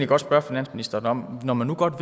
godt spørge finansministeren om når man nu godt